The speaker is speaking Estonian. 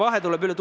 Aitäh!